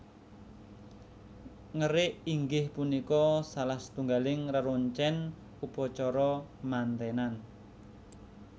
Ngerik inggih punika salah satunggaling reroncen upacara mantenan